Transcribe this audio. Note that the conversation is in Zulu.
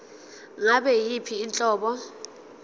ngabe yiyiphi inhlobo